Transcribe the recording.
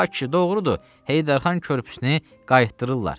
Ay kişi, doğrudur, Heydər Xan körpüsünü qaytırdırlar.